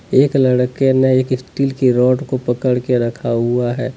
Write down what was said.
एक लड़के ने एक स्टील की रॉड को पकड़ के रखा हुआ है।